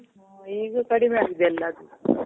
ಆ. ಈಗ ಕಡಿಮೆ ಆಗಿದೆ ಎಲ್ಲ ಅಲ್ಲಿ.